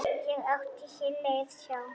Ég átti hér leið hjá.